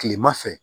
Kilema fɛ